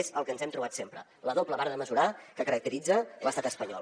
és el que ens hem trobat sempre la doble vara de mesurar que caracteritza l’estat espanyol